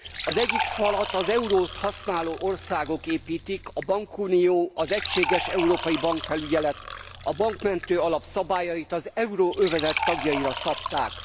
Az egyik falat az eurót használó országok építik a bankunió, az egységes európai bankfelügyelet, a bankmentő alap szabályait az euróövezet tagjaira szabták.